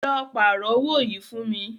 Lọ pààrọ́ owó yìí fún mí.